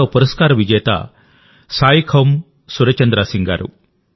మరో పురస్కార విజేత సాయిఖౌమ్ సురచంద్రాసింగ్ గారు